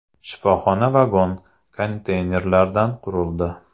Shifoxona vagon-konteynerlardan qurildi.